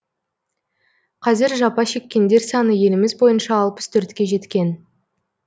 қазір жапа шеккендер саны еліміз бойынша алпыс төртке жеткен